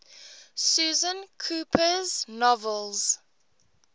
susan cooper's novels